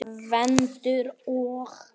Gvendur og